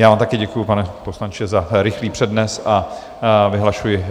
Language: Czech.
Já vám také děkuji, pane poslanče, za rychlý přednes a vyhlašuji